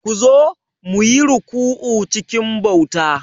Ku zo, mu yi ruku'u cikin bauta.